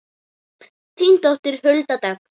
Þín dóttir Hulda Dögg.